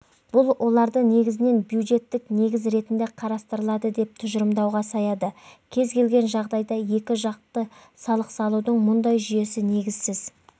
бұл оларды негізінен бюджеттік негіз ретінде қарастырылады деп тұжырымдауға саяды кез келген жағдайда екі жақты салық салудың мұндай жүйесі негізсіз